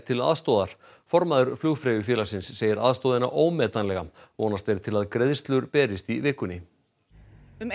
til aðstoðar formaður Flugfreyjufélagsins segir aðstoðina ómetanlega vonast er til að greiðslur berist í vikunni um